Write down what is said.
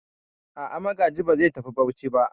A'a, Magaji ba zai tafi Bauchi ba.